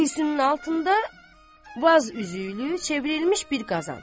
Kürsünün altında vaz üzüylü çevrilmiş bir qazan.